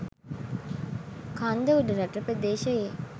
කන්ද උඩරට ප්‍රදේශයේ